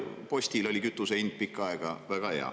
Postil oligi kütuse hind pikka aega väga hea.